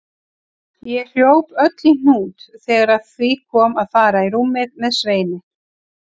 Ég hljóp öll í hnút þegar að því kom að fara í rúmið með Sveini.